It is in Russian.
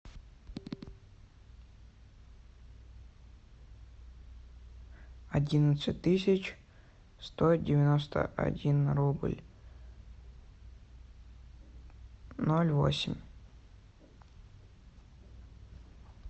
одиннадцать тысяч сто девяносто один рубль ноль восемь